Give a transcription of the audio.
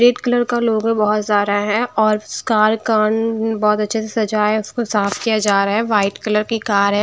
Red colour का लोग है बहुत सारा है और कार का बहुत अच्छे से सजा है उसको साफ किया जा रहा है वाइट कलर की कार है।